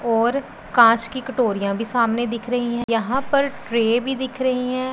और कांच की कटोरीयां भी सामने दिख रहीं हैं यहां पर ट्रे भी दिख रहीं हैं।